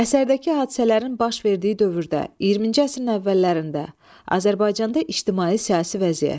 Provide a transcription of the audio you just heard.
Əsərdəki hadisələrin baş verdiyi dövrdə, 20-ci əsrin əvvəllərində Azərbaycanda ictimai-siyasi vəziyyət.